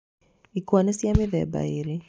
Ikwa nĩ cia mĩthemba ĩrĩ.